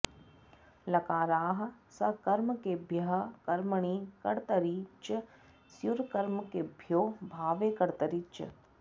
लकाराः सकर्मकेभ्यः कर्मणि कर्तरि च स्युरकर्मकेभ्यो भावे कर्तरि च